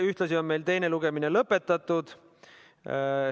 Ühtlasi on teine lugemine lõpetatud.